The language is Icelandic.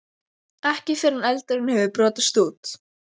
Ekki fyrr en eldurinn hafði brotist út.